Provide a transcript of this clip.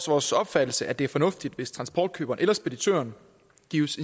vores opfattelse at det er fornuftigt hvis transportkøberen eller speditøren gives